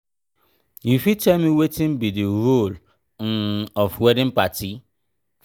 you fit tell me wetin be di role um of wedding party?